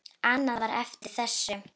Annað var eftir þessu.